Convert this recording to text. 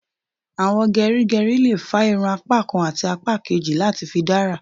Àwọn gerigeri lè fà irun apá kán àti apá kejì láti fi dára